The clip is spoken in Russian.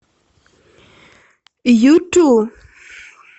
юту